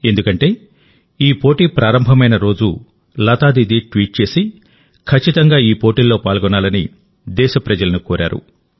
ఎందుకంటే ఈ పోటీ ప్రారంభమైన రోజులతా దీదీ ట్వీట్ చేసి ఖచ్చితంగా ఈ పోటీల్లో పాల్గొనాలని దేశ ప్రజలను కోరారు